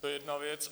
To je jedna věc.